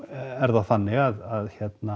er það þannig að